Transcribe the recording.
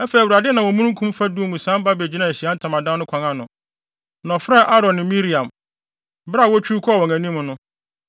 Afei, Awurade nam omununkum fadum mu sian ba begyinaa Ahyiae Ntamadan no kwan ano, na ɔfrɛɛ Aaron ne Miriam. Bere a wotwiw kɔɔ wɔn anim no,